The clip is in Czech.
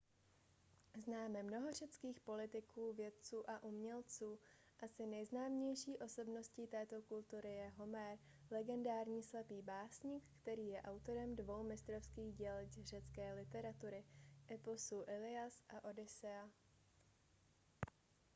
známe mnoho řeckých politiků vědců a umělců asi nejznámější osobností této kultury je homér legendární slepý básník který je autorem dvou mistrovských děl řecké literatury eposů illias a odyssea